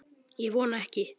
Ég vona ekki